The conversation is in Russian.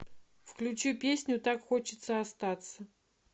включи песню так хочется остаться